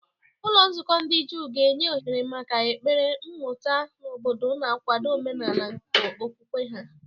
Ụlọ nzukọ ndị Juu ga-enye ohere maka ekpere, mmụta, na obodo, na-akwado omenala nke okwukwe ha.